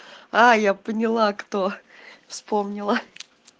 а я поняла кто вспомнила